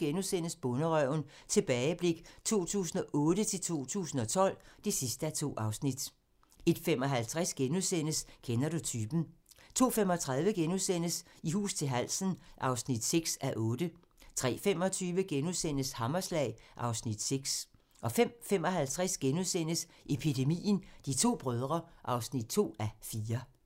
01:25: Bonderøven - tilbageblik 2008-2012 (2:2)* 01:55: Kender du typen? * 02:35: I hus til halsen (6:8)* 03:25: Hammerslag (Afs. 6)* 05:55: Epidemien - De to brødre (2:4)*